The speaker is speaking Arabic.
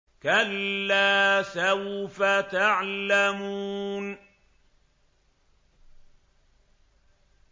كَلَّا سَوْفَ تَعْلَمُونَ